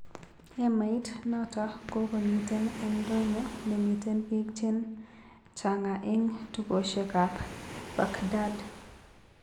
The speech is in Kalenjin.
Hemait nano kokomiten eng ndonyo nemiten pik chen changa'a eng tukosiek ap baghdad